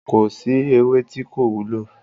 Kò sí ewé tí kò wúlò.